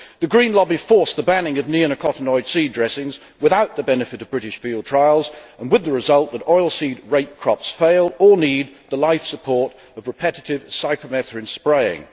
The Green lobby forced the banning of neonicotinoid seed dressings without the benefit of British field trials, and with the result that oilseed rape crops fail or need the life support of repetitive cypermethrin spraying.